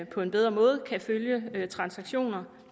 på en bedre måde kan følge transaktioner